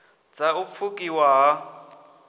dz a u pfukiwa ha